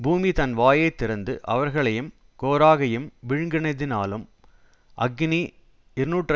பூமி தன் வாயை திறந்து அவர்களையும் கோராகையும் விழுங்கினதினாலும் அக்கினி இருநூற்று